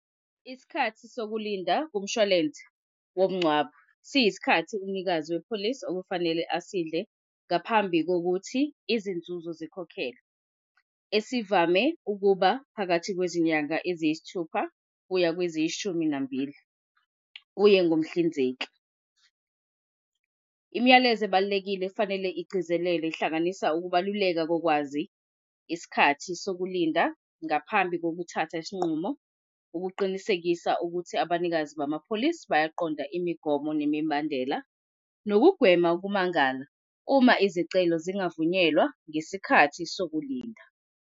Isikhathi sokulinda kumshwalense womngcwabo siysikhathi umnikazi wepholisi okufanele asidle ngaphambi kokuthi izinzuzo zikhokhelwe esivamise ukuba phakathi kwezinyanga eziyisithupha kuya kweziyishumi nambili kuye ngomhlinzeki. Imiyalezo ebalulekile efanele igcizelele ihlanganisa ukubaluleka kolwazi isikhathi sokulinda ngaphambi kokuthatha isinqumo, ukuqinisekisa ukuthi abanikazi bamapholisi bayaqonda imigomo nemibandela. Nokugwema ukumangala uma izicelo zingavunyelwa ngesikhathi sokulinda.